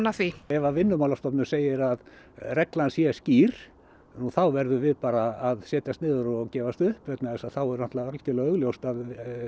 að því ef að Vinnumálastofnun segir að reglan sé skýr nú þá verðum við bara að setjast niður og gefast upp vegna þess að þá er náttúrulega algerlega augljóst að